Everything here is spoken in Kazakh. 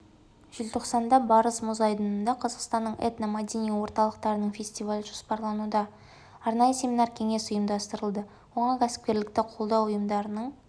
желтоқсанда барыс мұз айдынында қазақстанның этно-мәдени орталықтарының фестивалі жоспарлануда арнайы семинар-кеңес ұйымдастырылды оған кәсіпкерлікті қолдау ұйымдарының